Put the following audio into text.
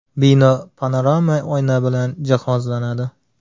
Bino panorama oyna bilan jihozlanadi.